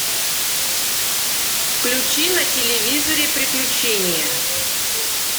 включи на телевизоре приключения